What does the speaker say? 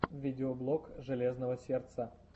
видеоблог железного сердца